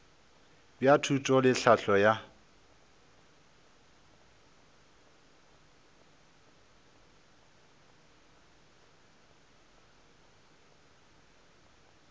bja thuto le tlhahlo ka